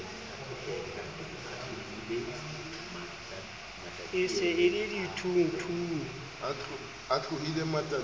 e se e le dithungthung